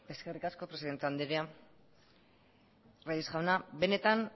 eskerrik asko presidente anderea reyes jauna benetan